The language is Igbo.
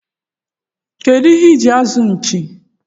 kedụ ihe iji azụ nchi?